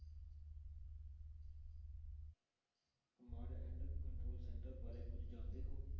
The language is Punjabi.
Command and control center ਬਾਰੇ ਕੁੱਝ ਜਾਣਦੇ ਹੋ।